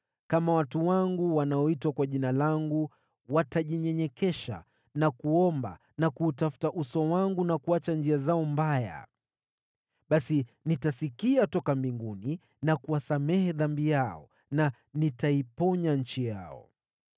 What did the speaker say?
kama watu wangu, wanaoitwa kwa Jina langu, watajinyenyekesha na kuomba na kuutafuta uso wangu na kuacha njia zao mbaya, basi nitasikia toka mbinguni na kuwasamehe dhambi yao na nitaiponya nchi yao.